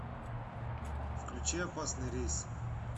включи опасный рейс